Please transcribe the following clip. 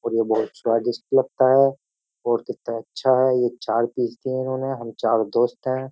और ये बहुत स्वादिष्ट लगता है और कित्ता अच्छा है ये चार पीस दिए है इन्होने हम चारो दोस्त है।